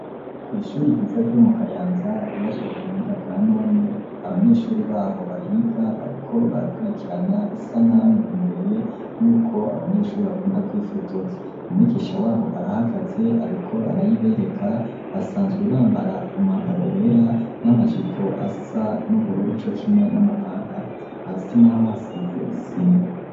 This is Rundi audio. Kw'ishuri ryiza ryo mu Kayanza ryubatswe ku buhinga bwa none, abanyeshuri baho bahiga bariko barakurikirana isanamu imbere y'uko abanyeshuri bakunda kwifotoza. Umwigisha wabo arahagaze ariko arayibereka basanzwe bambara umwambaro wera n'amajipo asa n'ubururu co kimwe n'amapantaro hasi n'aho hasize isima.